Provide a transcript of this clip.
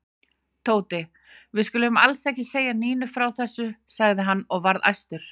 Tóti, við skulum alls ekki segja Nínu frá þessu sagði hann og var æstur.